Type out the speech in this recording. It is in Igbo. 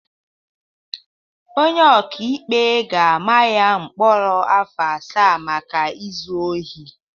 Onye ọkaikpe ga-ama ya mkpọrọ afọ asaa maka izu ohi